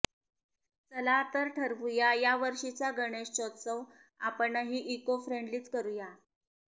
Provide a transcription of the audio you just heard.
चला तर ठरवूया यावर्षीचा गणेशोत्सव आपणही इको फ्रेंडलीच करूया